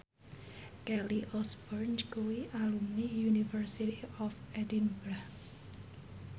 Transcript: Kelly Osbourne kuwi alumni University of Edinburgh